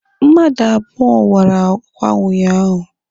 Mmadụ abụọ wara akwa unyaahụ.